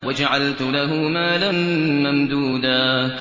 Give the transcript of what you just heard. وَجَعَلْتُ لَهُ مَالًا مَّمْدُودًا